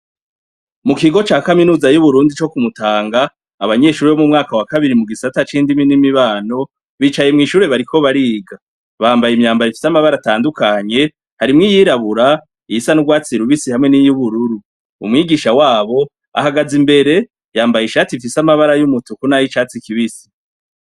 Mu kigo ca kaminuza yuburundi co kumutanga abanyeshure bo mu mwaka wakabiri mu gisata cindimi n'imibano bicaye mwishure bariko bariga bambaye imyambaro ifise amabara atandukanye harimwo iyirabura, iyisa nurwatsi rubisi hamwe n'iyubururu umwigisha wabo ahagaze imbere yambaye ishati ifise amabara yumutuku nayicatsi kibisi.